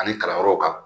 Ani kalanyɔrɔw kan